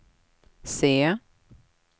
se